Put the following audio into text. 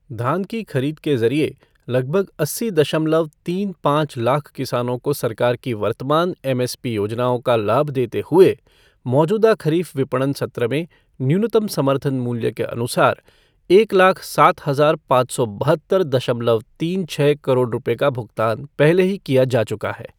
धान की खरीद के ज़रिये लगभग अस्सी दशमलव तीन पाँच लाख किसानों को सरकार की वर्तमान एमएसपी योजनाओं का लाभ देते हुए मौजूदा खरीफ विपणन सत्र में न्यूनतम समर्थन मूल्य के अनुसार एक लाख सात हजार पाँच सौ बहत्तर दशमलव तीन छः करोड़ रुपये का भुगतान पहले ही किया जा चुका है।